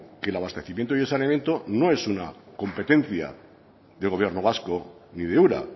que el abastecimiento y el saneamiento no es una competencia del gobierno vasco ni de ura